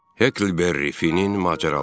Heklberri Finnin macəraları.